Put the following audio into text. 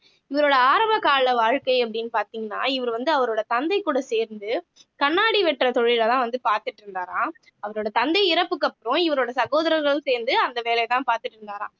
இவரோட ஆரம்பகால வாழ்க்கை அப்படின்னு பார்த்தீங்கன்னா இவர் வந்து அவரோட தந்தை கூட சேர்ந்து கண்ணாடி வெட்டுற தொழிலைதான் வந்து பார்த்துட்டு இருந்தாராம் அவரோட தந்தை இறப்புக்கு அப்புறம் இவரோட சகோதரர்களும் சேர்ந்து அந்த வேலையைத்தான் பார்த்துட்டு இருந்தாராம்